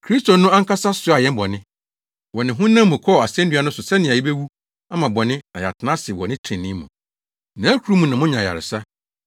“Kristo no ankasa soaa yɛn bɔne” wɔ ne honam mu kɔɔ asennua no so sɛnea yebewu ama bɔne na yɛatena ase wɔ trenee mu. “Nʼakuru mu na moanya ayaresa.